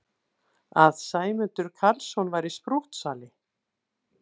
Að Sæmundur Karlsson væri sprúttsali!